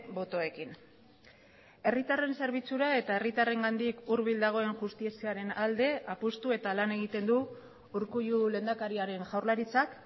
botoekin herritarren zerbitzura eta herritarrengandik hurbil dagoen justiziaren alde apustu eta lan egiten du urkullu lehendakariaren jaurlaritzak